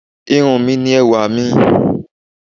Irun mi ni ẹwà mi.